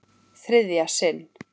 Þriðja sinn.